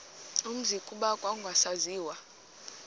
umzi kuba kwakungasaziwa